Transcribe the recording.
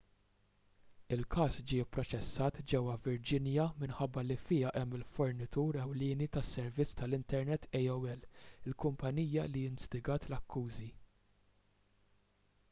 il-każ ġie pproċessat ġewwa virginia minħabba li fiha hemm il-fornitur ewlieni tas-servizz tal-internet aol il-kumpanija li instigat l-akkużi